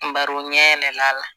Baro ɲɛ yɛlɛl'a la